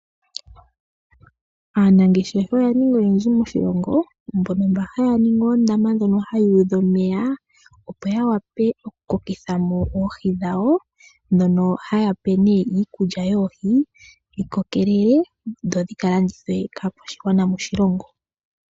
Aanangeshefa oya ninga oyendji moshilongo mbono mba haya ningi oondama ndhono hadhi udha omeya, opo ya wape oku kokitha mo oohi dhawo, ndhono haya pe nee iikulya yoohi, dhi kokelele, dho dhika landithwe kaakwashigwana moshilongo.